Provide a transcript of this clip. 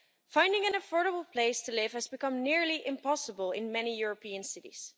Finding an affordable place to live has become nearly impossible in many European cities.